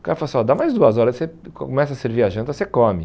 O cara falou assim, dá mais duas horas, você começa a servir a janta, você come.